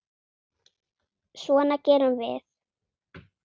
Svona gerum við.